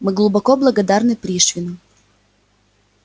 мы глубоко благодарны пришвину